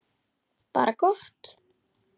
Bara gott.